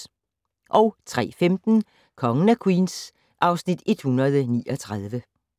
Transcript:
03:15: Kongen af Queens (Afs. 139)